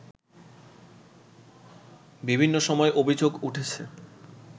বিভিন্ন সময় অভিযোগ উঠেছে